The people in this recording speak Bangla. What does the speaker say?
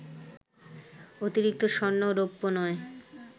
অতিরিক্ত স্বর্ণ ও রৌপ্য নয়